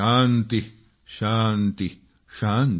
शान्ति शान्ति ।।